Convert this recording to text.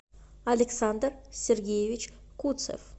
александр сергеевич куцев